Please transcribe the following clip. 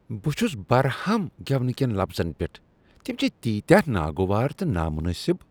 بہ چھس برہم گیونہٕ کین لفظن پیٹھ۔ تم چھ تیٖتیاہ ناگوار تہٕ نا منٲسب۔